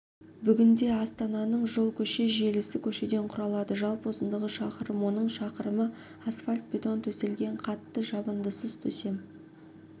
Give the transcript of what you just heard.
бүгінде астананың жол-көше желісі көшеден құралады жалпы ұзындығы шақырым оның шақырымы асфальтбетон төселген қатты жабындысыз төсем